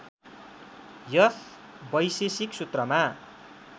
यस वैशेषिक सूत्रमा